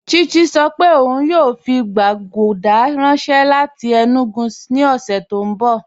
Chichi sọ́ pé óun yóò fi gbàgùdà ranṣẹ láti Enugu ni ọṣẹ̀ ti n bọ̀.